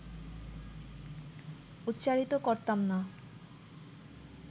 উচ্চারিত করতাম না